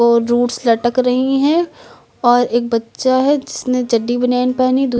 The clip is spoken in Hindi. और जुट्स लटक रही हैं और एक बच्चा है जिसने चड्डी बनियाइन पहनी--